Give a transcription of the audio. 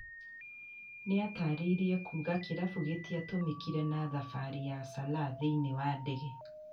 Nĩyatarĩriae kuuga kĩrabu ĩtĩatũmĩkire na thabarĩ ya Sala thĩĩini wa ndege